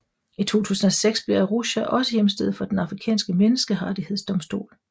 I 2006 blev Arusha også hjemsted for Den Afrikanske menneskerettighedsdomstol